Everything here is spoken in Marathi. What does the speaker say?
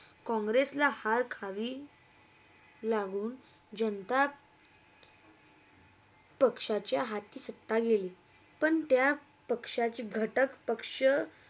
काँग्रेसला हार खावी लावून जनता पक्षाच्या हाती सप्ता गेली पण त्या पक्षाची घाटक पक्षा.